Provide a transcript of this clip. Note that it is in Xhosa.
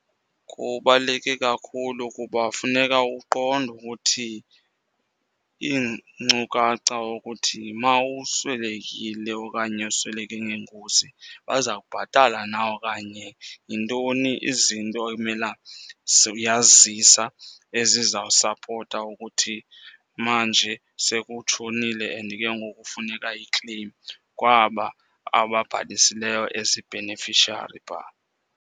Kubaluleke kakhulu kuba funeka uqonde ukuthi iinkcukacha ukuthi uma uswelekile okanye usweleke ngengozi baza kubhatala na okanye yintoni izinto ekumela uyazizisa ezizawusapota ukuthi manje sekutshonile and ke ngoku funeka ikleyim kwaba ababhalisileyo as ii-beneficiary phaa.